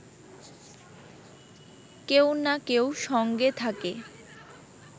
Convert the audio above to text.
কেউ না কেউ সঙ্গে থাকে